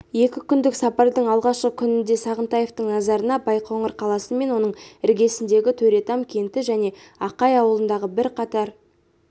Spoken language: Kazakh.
екі күндік сапардың алғашқы күнінде сағынтаевтың назарына байқоңыр қаласы мен оның іргесіндегі төретам кенті және ақай ауылындағы бірқатар